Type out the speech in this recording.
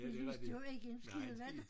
De lyste jo ikke en skid vel